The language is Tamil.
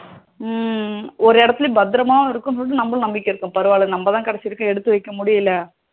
உம் ஒரு இடத்தில் பத்தரமா இருக்குன்னு சொல்லிட்டு நமக்கு நம்பிக்கை இருக்கும் எடுத்து வைக்க முடியல பரவாயில்ல நம்ம தான் கடைசி வரைக்கும் எடுத்து வைக்க முடியல